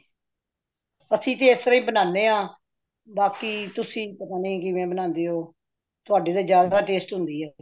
ਅਸੀਂ ਤੇ ਇਸਤਰਾਂ ਬਨਾਂਦੇ ਹਾ, ਬਾਕੀ ਤੁਸੀਂ ਤੇ ਪਤਾ ਨਹੀਂ ਕਿਵੇ ਬਣਾਂਦੇ ਹੋ ਤੁਹਾਡੀ ਤੇ ਬੜੀ ਸਵਾਦ ਹੋਂਦੀ ਹੈ।